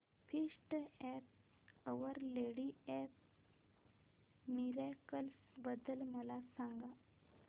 feast of our lady of miracles बद्दल मला सांगा